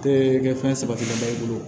Te kɛ fɛn saba kilenba i bolo